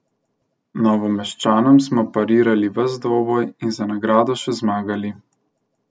Novomeščanom smo parirali ves dvoboj in za nagrado še zmagali.